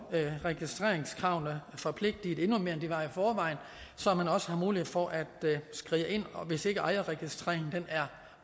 registreringskravene forpligtet endnu mere end de var i forvejen så man også har mulighed for at skride ind hvis ikke ejerregistreringen er